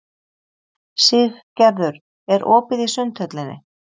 Siggerður, er opið í Sundhöllinni?